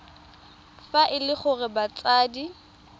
fa e le gore batsadi